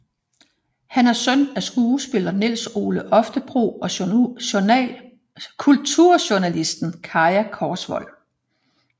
Han er søn af skuespiller Nils Ole Oftebro og kulturjournalist Kaja Korsvold